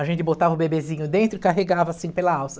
A gente botava o bebezinho dentro e carregava assim pela alça.